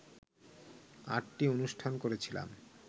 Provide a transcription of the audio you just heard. আটটি অনুষ্ঠান করেছিলাম